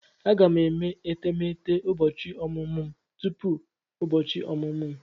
Aga m eme etemeete ụbọchị ọmụmụ m tupu ụbọchị ọmụmụ m.